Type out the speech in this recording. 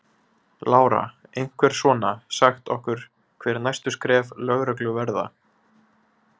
Lára: Einhver svona, sagt okkur hver næstu skref lögreglu verða?